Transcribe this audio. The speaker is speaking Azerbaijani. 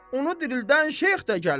Onu dirildən şeyx də gəlir.